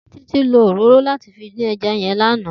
Titi ló óróró làtí fi din èjà yèn làná